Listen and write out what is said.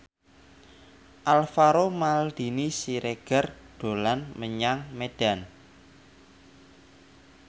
Alvaro Maldini Siregar dolan menyang Medan